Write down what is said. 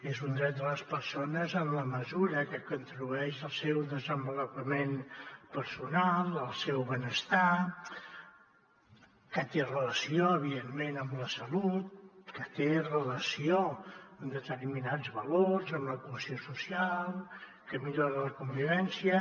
és un dret de les persones en la mesura que contribueix al seu desenvolupament personal al seu benestar que té relació evidentment amb la salut que té relació amb determinats valors amb la cohesió social que millora la convivència